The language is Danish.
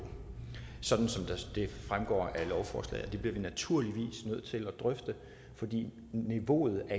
sådan som det fremgår af lovforslaget og det bliver vi naturligvis nødt til at drøfte fordi niveauet